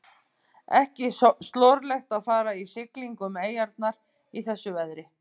Ekki slorlegt að fara í siglingu um eyjarnar í þessu veðri.